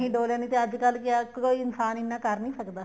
ਨਹੀਂ ਡੋਲਿਆ ਨਹੀਂ ਅੱਜਕਲ ਕਿਆ ਕੋਈ ਇਨਸਾਨ ਇੰਨਾ ਕਰ ਨਹੀਂ ਸਕਦਾ